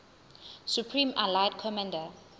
supreme allied commander